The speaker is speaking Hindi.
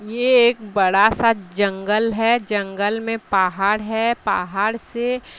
ये एक बड़ा सा जंगल है जंगल में पहाड़ है पहाड़ से--